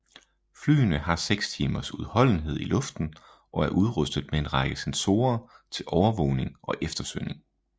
Flyene har seks timers udholdenhed i luften og er udrustet med en række sensorer til overvågning og eftersøgning